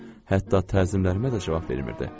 Hətta təzimlərimə də cavab vermirdi.